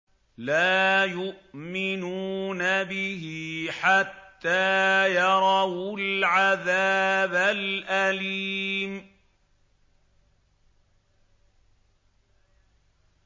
لَا يُؤْمِنُونَ بِهِ حَتَّىٰ يَرَوُا الْعَذَابَ الْأَلِيمَ